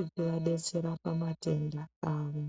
ichivadetsera pamatenda avo.